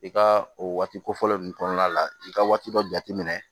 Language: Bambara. I ka o waati kofɔlɔ ninnu kɔnɔna la i ka waati dɔ jate minɛ